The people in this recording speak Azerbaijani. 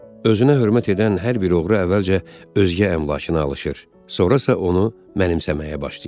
Özünə hörmət edən hər bir oğru əvvəlcə özgə əmlakına alışır, sonra isə onu mənimsəməyə başlayır.